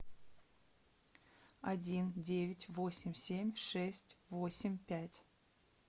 один девять восемь семь шесть восемь пять